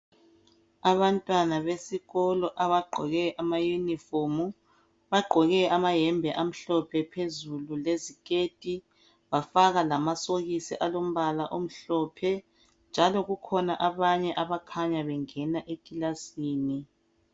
abantwana besikolo abagqoke ama uniform bagqoke amayembe amhlophe phezulu leziketi bafaka lamasokisi alombala omhlophe njalo kukhona abanye abakhanya bengena ekilasini